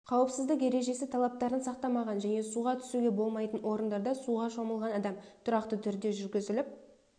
қауіпсіздік ережесі талаптарын сақтамаған және суға түсуге болмайтын орындарда суға шомылған адам тұрақты түрде жүргізіліп